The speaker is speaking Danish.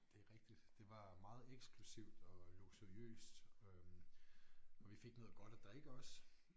Det er rigtigt det var meget eksklusivt og luksuriøst øh og vi fik noget godt at drikke også